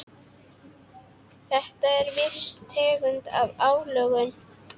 Þetta er viss tegund af álögum.